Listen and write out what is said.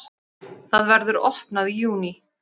Það verður opnað í júní.